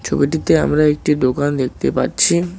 ছবিটিতে আমরা একটি দোকান দেখতে পাচ্ছি।